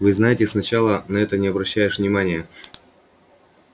вы знаете сначала на это не обращаешь внимания